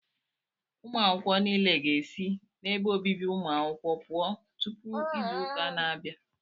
Ụmụ akwụkwọ nile ga-esi n'ebe obibi ụmụ akwụkwọ pụọ tụpụ izu ụka na-abịa